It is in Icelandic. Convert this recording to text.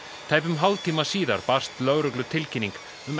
tæpum hálftíma síðar barst lögreglu tilkynning um